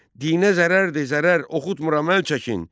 Dinə zərərdir, zərər, oxutmuram əl çəkin!